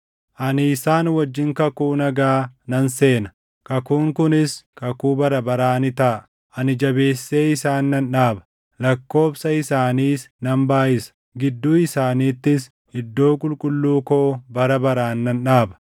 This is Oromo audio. Ani isaan wajjin kakuu nagaa nan seena; kakuun kunis kakuu bara baraa ni taʼa. Ani jabeessee isaan nan dhaaba; lakkoobsa isaaniis nan baayʼisa; gidduu isaaniittis iddoo qulqulluu koo bara baraan nan dhaaba.